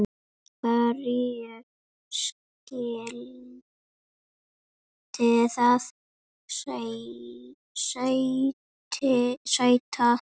Hverju skyldi það sæta?